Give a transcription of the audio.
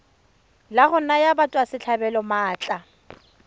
la go naya batswasetlhabelo maatla